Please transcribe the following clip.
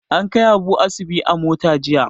An kai Abu asibi a mota jiya.